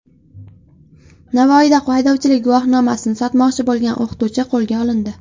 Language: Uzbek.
Navoiyda haydovchilik guvohnomasini sotmoqchi bo‘lgan o‘qituvchi qo‘lga olindi.